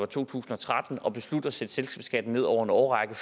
to tusind og tretten at beslutte at sætte selskabsskatten ned over en årrække